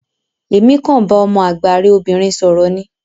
Emi kan bá ọmọ àgbà rẹ obìnrin sọrọ ní.